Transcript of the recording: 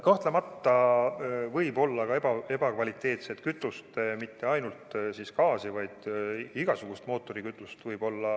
Kahtlemata võib olla ka ebakvaliteetset kütust, mitte ainult gaasi, vaid ka igasugust mootorikütust.